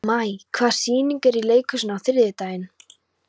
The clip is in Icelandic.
Maj, hvaða sýningar eru í leikhúsinu á þriðjudaginn?